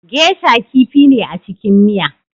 Geisha kifi ne a cikin miya